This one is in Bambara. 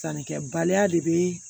Sannikɛbaliya de bɛ